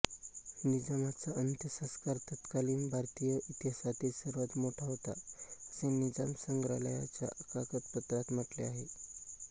निजामाचा अंत्यसंस्कार तत्कालीन भारतीय इतिहासातील सर्वात मोठा होता असे निजाम संग्रहालयाच्या कागदपत्रांत म्हटले आहे